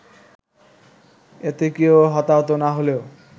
এতে কেউ হতাহত না হলেও